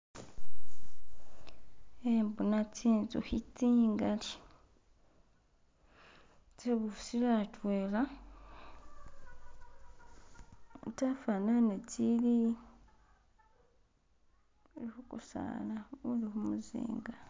Kembona zinzuki zingali, zibusile h'atwela zafanane zili kugusaala guli kumuzinga